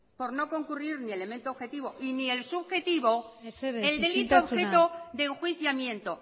por no concurrir ni elemento objetivo ni el subjetivo mesedez isiltasuna el delito entero de enjuiciamiento